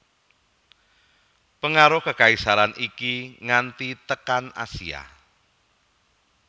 Pangaruh kakaisaran iki nganti tekan Asia